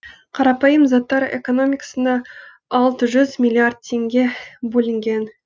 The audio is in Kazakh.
қарапайым заттар экономикасына алты жүз миллиард теңге бөлінген